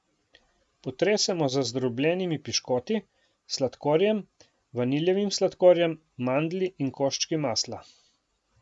Potresemo z zdrobljenimi piškoti, sladkorjem, vaniljevim sladkorjem, mandlji in koščki masla.